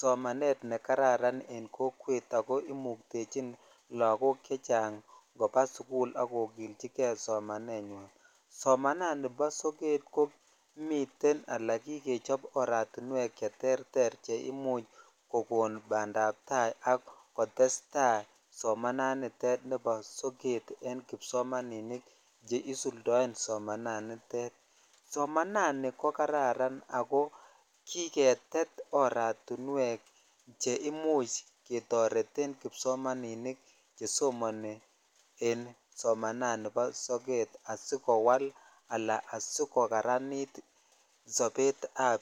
somanet nekararan en kokwet ako imuktchin lakok chechang koba sukul ak kokilchikei somanenywan somananik bo sokat komiten ala kikechop aratiwek che terter e imuch kokon bandaptai akotestai somannitet sokat en kipsomaninik che isuldoen somananitet somananik ko Kararan ako kiketet oratiwek che imuch ketoreten kipsomaninik che somoni en somananik bo sokat asikowal ala asikowal sobet ab